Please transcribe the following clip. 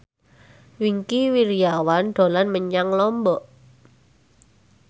Wingky Wiryawan dolan menyang Lombok